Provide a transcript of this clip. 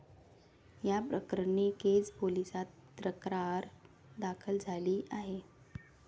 याप्रकरणी केज पोलिसात तक्रार दाखल झाली आहे.